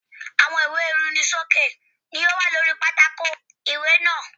Àwọn ìwé ìrunisókè ni ó wà lóri pátákò ìwé náà.